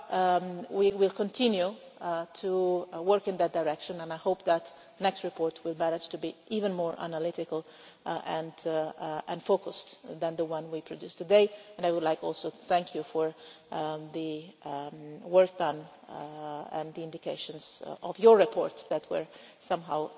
But we will continue to work in that direction and I hope that the next report will manage to be even more analytical and focused than the one we produced today and I would like also to thank you for the work done and the indications of your reports that were somehow